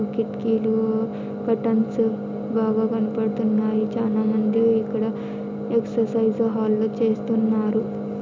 కిట్కీలు curtains బాగా కనపడుతున్నాయి చానా మంది ఇక్కడ ఎక్సర్సైజ్ హల్లో చేస్తున్నారు.